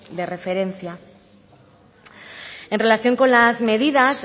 de referencia en relación con las medidas